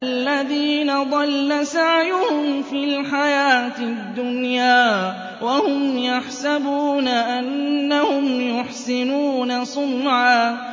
الَّذِينَ ضَلَّ سَعْيُهُمْ فِي الْحَيَاةِ الدُّنْيَا وَهُمْ يَحْسَبُونَ أَنَّهُمْ يُحْسِنُونَ صُنْعًا